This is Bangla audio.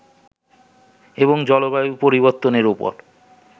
এবং জলবায়ু পরিবর্তনের ওপর